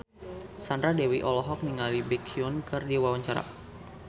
Sandra Dewi olohok ningali Baekhyun keur diwawancara